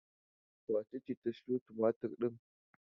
Wace ce ta sayo tumatur ɗin?